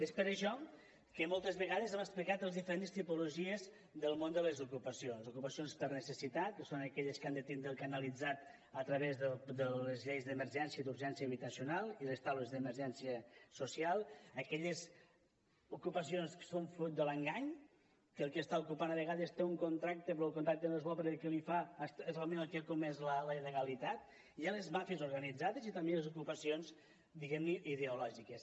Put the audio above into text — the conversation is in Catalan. és per això que moltes vegades hem explicat les diferentes tipologies del món de les ocupacions ocupacions per necessitat que són aquelles que han de tindre ho canalitzat a través de les lleis d’emergència i d’urgència habitacional i les taules d’emergència social aquelles ocupacions que són fruit de l’engany que el que està ocupant a vegades té un contracte però el contracte no és bo perquè el que li fa és realment el que ha comès la il·legalitat hi ha les màfies organitzades i també hi ha les ocupacions diguem ne ideològiques